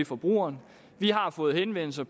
forbrugerne vi har fået henvendelser